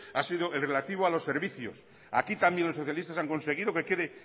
ha sido el relativo a los servicios aquí también los socialistas han conseguido que quede